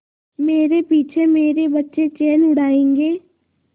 मेरे पीछे मेरे बच्चे चैन उड़ायेंगे